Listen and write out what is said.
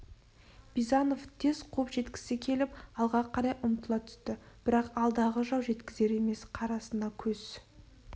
бизанов тез қуып жеткісі келіп алға қарай ұмтыла түсті бірақ алдағы жау жеткізер емес қарасына көз